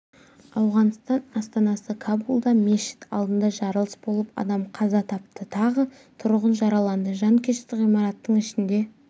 ауғанстан астанасы кабулда мешіт алдында жарылыс болып адам қаза тапты тағы тұрғын жараланды жанкешті ғимараттың ішінде